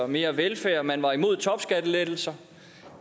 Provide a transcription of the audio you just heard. mere velfærd man var imod topskattelettelser